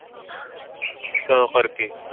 ਤਾਂ ਕਰਕੇ ਕੇ